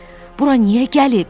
Bura niyə gəlib?